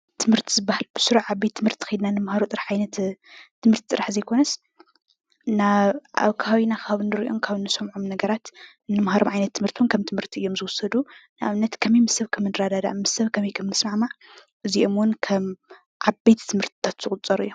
ትምህርቲ ዝበሃል ብስሩዕ አብ ቤት ትምህርቲ ከይድና እንመሃሮ ትምህርቲ ጥራሕ ዘይኮነስ አብ ከባቢና ካብ እንሪኦም እንሰምዖም ነገራት እንማሃሮ ዓይነት ትምህርቲ እዉን ከም ትምህርቲ እዩም ዝውሰዱ። ንአብነት ከመይ ምስ ሰብ ከም እንረዳድእ ምስ ሰብ ከመይ እንስማዕማዕ ኣዚኦም እዉን ከም ዓበይቲ ትምህርትታት ዝቁፀሩ ኣዮም።